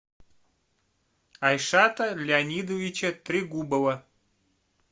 айшата леонидовича трегубова